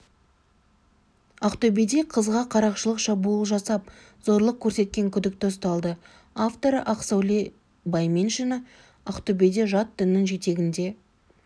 ақтөбеде қызға қарақшылық шабуыл жасап зорлық көрсеткен күдікті ұсталды авторы ақсәуле байменшина ақтөбеде жат діннің жетегінде